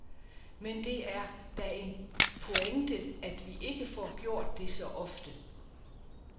Men det er da en pointe, at vi ikke får gjort det så ofte.